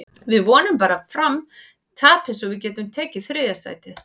Við vonum bara að Fram tapi svo við getum tekið þriðja sætið.